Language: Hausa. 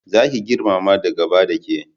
Za ki girmama da gaba da ke